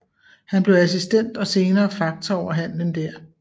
Han blev assistent og senere faktor over handelen der